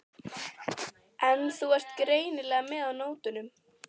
En þú ert greinilega með á nótunum.